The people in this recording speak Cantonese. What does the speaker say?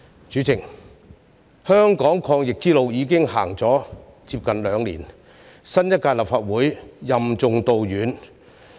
主席，香港抗疫之路已經走了接近兩年，新一屆立法會任重道遠。